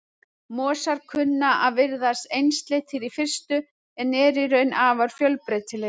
Mosar kunna að virðast einsleitir í fyrstu en eru í raun afar fjölbreytilegir.